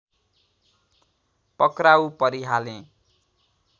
पक्राउ परिहालेँ